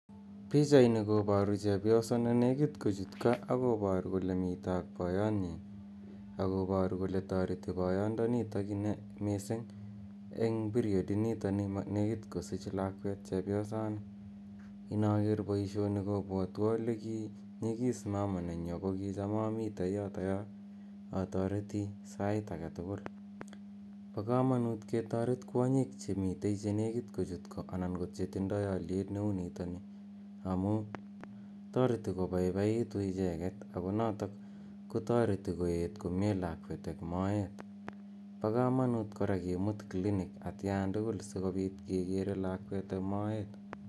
Pichaini koparu chepyoso ne nekit kochut ko ak koparu kole mitei ak poyotnyi, akoparu kole tareti poyondonitok missing' eng' period initoni nekit kosuuch lakwet chepyosani. Inaker poishoni kopwatwa ole kinyigis mama nenyu ako kicham amitei yotoyo atareti sait age tugul Pa kamanut ketaret kwonyiik che mitei che nekit kochut ko ana ko che tindai aliet ne u nitani amu itareti kopaipaitu icheget ako notok kotareti ket komye lakwet eng' moet. Pa kamanut kora kimut clinic atian tugul si kopit kekere lakwet eng' moet.